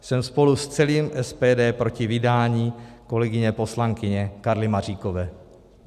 Jsem spolu s celým SPD proti vydání kolegyně poslankyně Karly Maříkové.